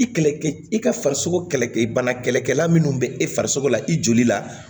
I kɛlɛkɛ i ka farisogo kɛlɛkɛ bana kɛlɛkɛla minnu bɛ e farisogo la i joli la